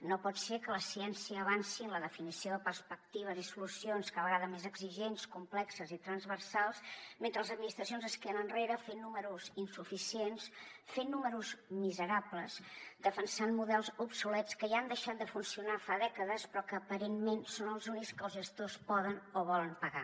no pot ser que la ciència avanci en la definició de perspectives i solucions cada vegada més exigents complexes i transversals mentre les administracions es queden enrere fent números insuficients fent números miserables defensant models obsolets que ja han deixat de funcionar fa dècades però que aparentment són els únics que els gestors poden o volen pagar